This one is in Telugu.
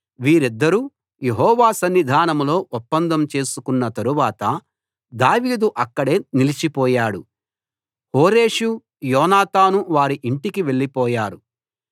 వీరిద్దరూ యెహోవా సన్నిధానంలో ఒప్పందం చేసుకొన్న తరువాత దావీదు అక్కడే నిలిచిపోయాడు హోరేషు యోనాతాను వారి ఇంటికి వెళ్ళిపోయారు